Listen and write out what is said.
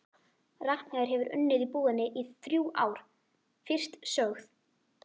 Ragnheiður hefur unnið í búðinni í þrjú ár, fyrst sögð